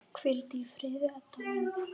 Hvíldu í friði, Edda mín.